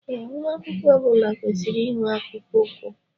Ee, nwa akwụkwọ ọbula kwesịrị inwe akpụkpọ ụkwụ